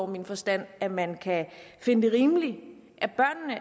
min forstand at man kan finde det rimeligt